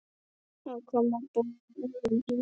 að koma boðum þangað.